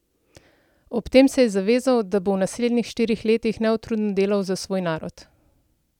Ob tem se je zavezal, da bo v naslednjih štirih letih neutrudno delal za svoj narod.